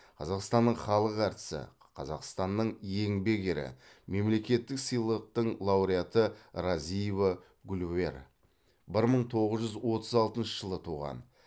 қазақстанның халық әртісі қазақстанның еңбек ері мемлекеттік сыйлықтың лауреаты разиева гульвер бір мың тоғыз жүз отыз алтыншы жылы туған